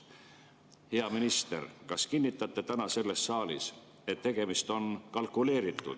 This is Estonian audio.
Hea minister, kas kinnitate täna selles saalis, et tegemist on kalkuleeritud ja …